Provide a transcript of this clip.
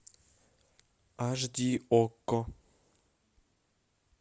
аш ди окко